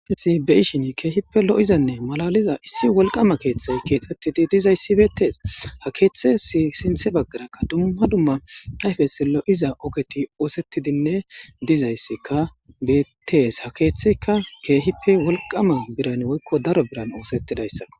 Ayfesi beyishini keehippe lo7izanne malaliza issi wolqama keeththey keexxettidi dizayssi beettees ha keeththes sinthe baggarakka dumma dumma ayfes lo7iza ogeti oosettidinne dizayssika beettees ha keeththeyka keehippe wolqama biran woykko daro biran oosettidayssao